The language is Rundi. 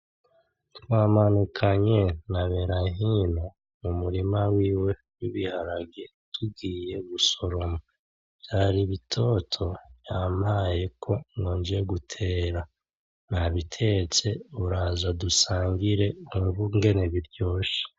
Twamanukanye na Berahino mu murima wiwe w'ibiharage tugiye gusoroma , vyari bitoto yampayeko ngo nje gutera, nabitetse uraza dusangire wumve ingene biryoshe.